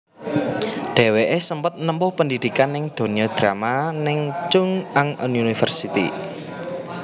Dhèwèké sempet nempuh pandidikan ning donya drama ning Chung Ang University